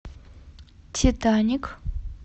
титаник